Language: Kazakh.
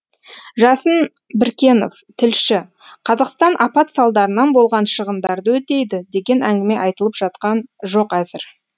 жасын біркенов тілші қазақстан апат салдарынан болған шығындарды өтейді деген әңгіме айтылып жатқан жоқ әзір